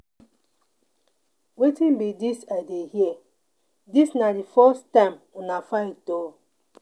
Wetin be dis I dey hear? Dis na the first time una fight oo.